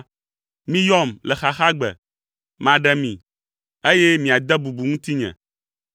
Miyɔm le xaxagbe, maɖe mi, eye miade bubu ŋutinye.”